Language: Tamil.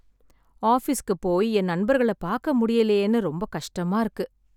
ஆஃபீஸ்க்கு போய் என் நண்பர்கள பாக்க முடியலையேன்னு ரொம்ப கஷ்டமா இருக்கு.